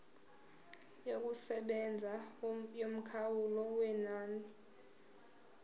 yokusebenza yomkhawulo wenani